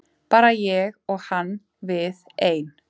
Bara ég og hann við ein.